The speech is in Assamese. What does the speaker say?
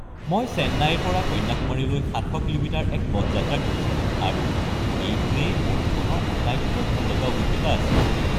মই চেন্নাইৰ পৰা কন্যাকুমাৰীলৈ ৭০০ কিলোমিটাৰৰ এক পথ যাত্ৰা কৰিছিলো আৰু এইটোৱেই মোৰ জীৱনৰ আটাইতকৈ ভাললগা অভিজ্ঞতা আছিল।